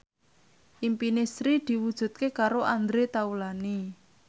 impine Sri diwujudke karo Andre Taulany